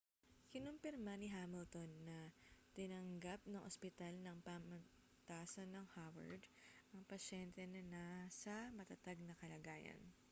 kinumpirma ni hamilton na tinanggap ng ospital ng pamantasan ng howard ang pasyente na nasa matatag na kalagayan